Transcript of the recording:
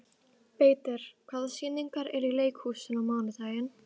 Beitir, hvaða sýningar eru í leikhúsinu á mánudaginn?